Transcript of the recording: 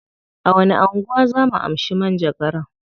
A wani anguwa zaa mu amshi manjagaran?